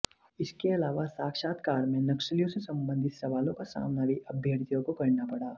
इसके अलावा साक्षत्कार में नक्सलियों से सबंधित सवालों का सामना भी अभ्यर्थियों को करना पड़ा